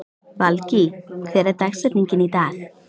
Valgý, hver er dagsetningin í dag?